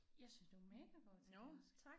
Jeg synes du er mega god til dansk